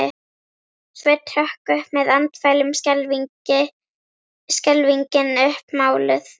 Sveinn hrökk upp með andfælum, skelfingin uppmáluð.